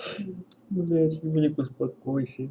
блять будильник успокойся